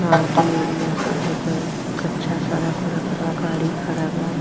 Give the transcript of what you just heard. गांव टी एरिया सब हके कच्चा सड़क-उड़क बा गाड़ी खड़ा बा।